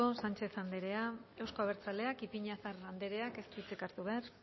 sanchez andrea euzko abertzaleak ipiñazar andreak ez du hitzik hartu behar